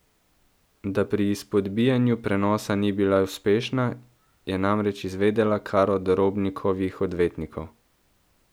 Da pri izpodbijanju prenosa ni bila uspešna, je namreč izvedela kar od Robnikovih odvetnikov.